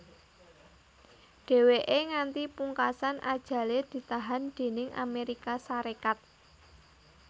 Dhèwèké nganti pungkasan ajalé ditahan déning Amérika Sarékat